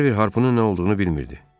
Harvi harpının nə olduğunu bilmirdi.